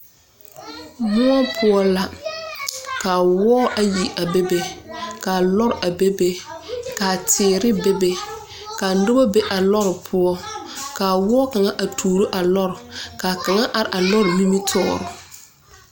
Muo poʊ la ka woɔ ayi a bebe. Ka lɔr a bebe. Ka teere bebe. Ka noba be a lɔr poʊ. Kaa woɔ kanga a tooro a lɔr. Ka kanga are a lɔr nimitooreŋ